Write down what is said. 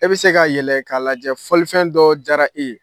E bɛ se ka yɛlɛ k'a lajɛ fɔlifɛn dɔ jara e ye.